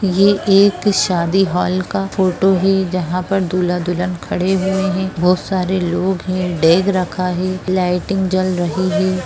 ये एक शादी हॉल का फोटो है जहां पे दूल्हा-दुल्हन खड़े हुए है बहुत सारे लोग है बेग रखा है लाइटिंग जल रही है।